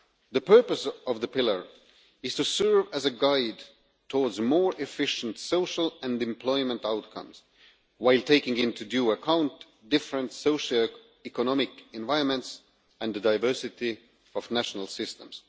The purpose of the pillar is to serve as a guide towards more efficient social and employment outcomes while taking into due account different socio economic environments and the diversity of national systems.